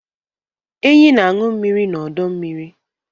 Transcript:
enyí na-aṅụ mmiri n'ọdọ mmiri